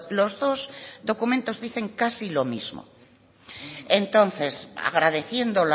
los dos documentos dicen casi lo mismo entonces agradeciendo